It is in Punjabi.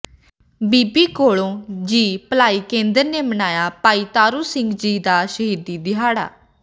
ਬੀਬੀ ਕੌਲਾਂ ਜੀ ਭਲਾਈ ਕੇਂਦਰ ਨੇ ਮਨਾਇਆ ਭਾਈ ਤਾਰੂ ਸਿੰਘ ਜੀ ਦਾ ਸ਼ਹੀਦੀ ਦਿਹਾੜਾ